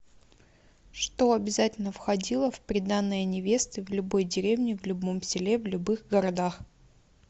что обязательно входило в приданное невесты в любой деревне в любом селе в любых городах